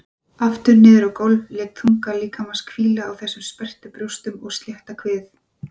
Aftur niður á gólf, lét þunga líkamans hvíla á þessum sperrtu brjóstum og slétta kviði.